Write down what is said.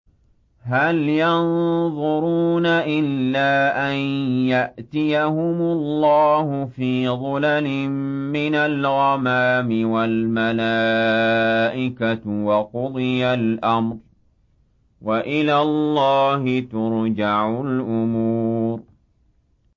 هَلْ يَنظُرُونَ إِلَّا أَن يَأْتِيَهُمُ اللَّهُ فِي ظُلَلٍ مِّنَ الْغَمَامِ وَالْمَلَائِكَةُ وَقُضِيَ الْأَمْرُ ۚ وَإِلَى اللَّهِ تُرْجَعُ الْأُمُورُ